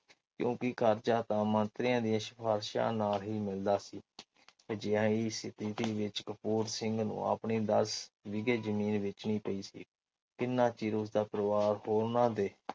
ਕਿਉਕਿ ਕਰਜਾਂ ਤਾ ਮੰਤਰੀਆਂ ਦੀਆ ਸਿਫ਼ਾਰਿਸ਼ਾਂ ਨਾਲ ਹੀ ਮਿਲਦਾ ਸੀ। ਸਥਿਤੀ ਵਿਚ ਕਪੂਰ ਸਿੰਘ ਨੂੰ ਆਪਣੀ ਦੱਸ ਕਿਲ੍ਹੇ ਜ਼ਮੀਨ ਵੇਚਣੀ ਪਈ ਕਿੰਨਾ ਚਿਰ ਉਸਦਾ ਪਰਿਵਾਰ ਓਹਨਾ ਦੇ